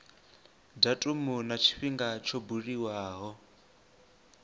datumu na tshifhinga tsho buliwaho